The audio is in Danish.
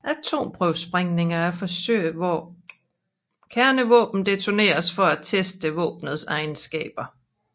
Atomprøvesprængninger er forsøg hvor kernevåben detoneres for at teste våbenets egenskaber